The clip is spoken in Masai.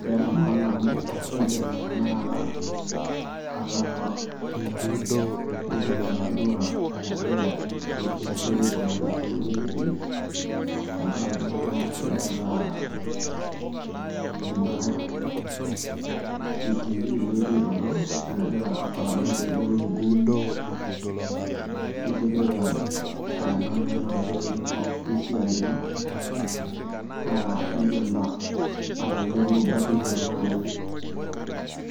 Keeta maana amu keidim tena kata atodua enegira esiaai aikunari te weji ntii tengaraki naa ieata ena CCTV nikigira aitodol enegira aramatare te weji nitipika aa enkag' ino arashu eweji ino esiaai ino naa indim atoyolo batisho naai